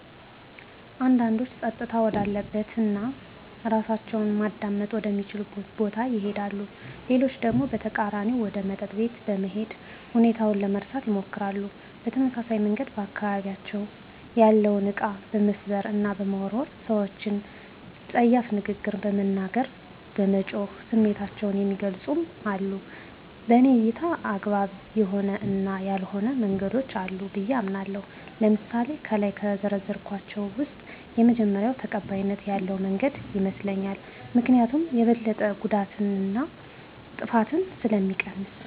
አንዳንዶች ፀጥታ ወዳለበት እና እራሳቸውን ማዳመጥ ወደ ሚችሉበት ቦታ ይሄዳሉ። ሌሎች ደግሞ በተቃራኒው ወደ መጠጥ ቤት በመሄድ ሁኔታውን ለመርሳት ይሞክራሉ። በተመሳሳይ መንገድ በአካባቢያቸው ያለውን እቃ በመስበር እና በመወርወር፣ ሰወችን ፀያፍ ንግግር በመናገር፣ በመጮህ ስሜታቸውን የሚገልፁም አሉ። በኔ እይታ አግባብ የሆኑ እና ያልሆኑ መንገዶች አሉ ብየ አምናለሁ። ለምሳሌ ከላይ ከዘረዘርኳቸው ውስጥ የመጀመሪው ተቀባይነት ያለው መንገድ ይመስለኛል። ምክኒያቱም የበለጠ ጉዳትን እና ጥፋትን ስለሚቀንስ።